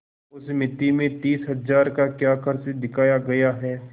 उस मिती में तीस हजार का क्या खर्च दिखाया गया है